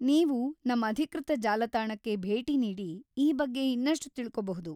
ನೀವು ನಮ್‌ ಅಧಿಕೃತ ಜಾಲತಾಣಕ್ಕೆ ಭೇಟಿ ನೀಡಿ ಈ ಬಗ್ಗೆ ಇನ್ನಷ್ಟು ತಿಳ್ಕೋಬಹುದು.